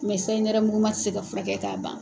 sayi nɛrɛmuguma tɛ se ka fura kɛ k'a ban.